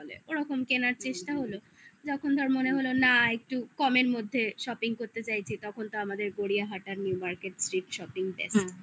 ওরকম কেনার চেষ্টা হলো যখন ধর মনে হলো না একটু কমের মধ্যে shopping করতে চাইছি তখন তো আমাদের গড়িয়াহাটা new market এর street shopping best